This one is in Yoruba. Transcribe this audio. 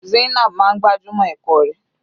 Zainab máa ń gbájúmọ́ ẹ̀kọ́ rẹ̀.